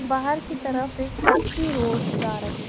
बाहर की तरफ एक कच्ची रोड जा रही--